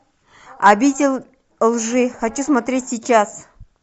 обитель лжи хочу смотреть сейчас